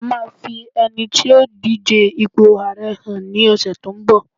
a ma fi ẹni tí yíò dije ipo ààrẹ hàn ni ọsẹ tínbọ̀